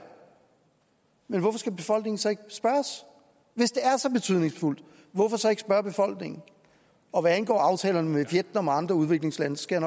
men hvorfor skal befolkningen så ikke spørges hvis det er så betydningsfuldt hvorfor så ikke spørge befolkningen og hvad angår aftalerne med vietnam og andre udviklingslande skal